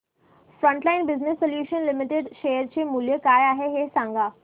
frontline business solutions limited share चे मूल्य काय आहे हे सांगा